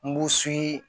Nbu su